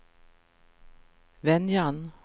Venjan